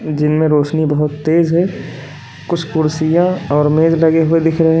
जिनमें रोशनी बहोत तेज है कुछ कुर्सियां और मेज लगे हुए दिख रहे हैं।